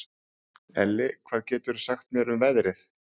Elli, hvað geturðu sagt mér um veðrið?